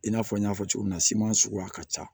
I n'a fɔ n y'a fɔ cogo min na siman sugu ka ca